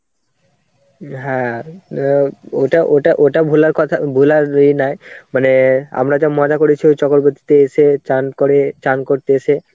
হ্যাঁ অ্যাঁ ওটা ওটা ওটা ভোলার কথা ভোলার ইয়ে নয়. মানে আমরা যা মজা করেছি ওই চকরবতীতে এসে স্নান করে, স্নান করতে এসে.